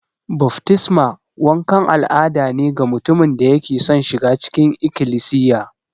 Baftisma wankan al'ada ne ga mutumin da yake son shiga cikin Ikilisiya.